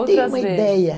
Eu tenho uma ideia.